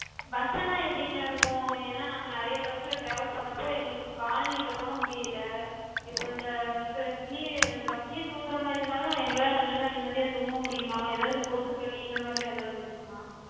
bus எல்லா எப்டிங்க இருக்கு? ஏனா நாங்க நெறைய bus ல travel பண்ணப்போ எங்களுக்குக் கால் நீட்டக்கூட முடியல. இப்ப இந்த slee இந்த bus லயே தூங்குற மாரி இருந்தாலு எங்களால நல்லா நிம்மதியா தூங்க முடியுமா? எதாது கொசுக்கடி இந்த மாரிலா எதாது இருக்குமா?